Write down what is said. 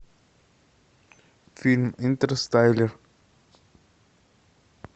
фильм интерстеллар